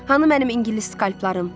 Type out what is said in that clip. Hanı mənim ingilis skalplarım?